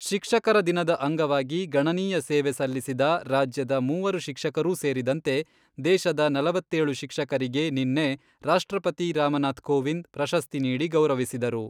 ಶಿಕ್ಷಕರ ದಿನದ ಅಂಗವಾಗಿ ಗಣನೀಯ ಸೇವೆ ಸಲ್ಲಿಸಿದ ರಾಜ್ಯದ ಮೂವರು ಶಿಕ್ಷಕರೂ ಸೇರಿದಂತೆ ದೇಶದ ನಲವತ್ತೇಳು ಶಿಕ್ಷಕರಿಗೆ ನಿನ್ನೆ ರಾಷ್ಟ್ರಪತಿ ರಾಮನಾಥ್ ಕೋವಿಂದ್, ಪ್ರಶಸ್ತಿ ನೀಡಿ ಗೌರವಿಸಿದರು.